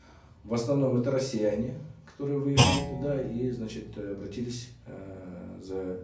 в основном это россияне которые выехали туда и значит э обратились эээ за